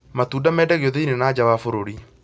Matunda mendagio thĩniĩ na njaa wa bũrũri